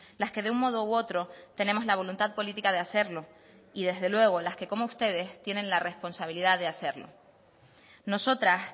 las que de un modo u otro tenemos la voluntad política de hacerlo y desde luego las que como ustedes tienen la responsabilidad de hacerlo nosotras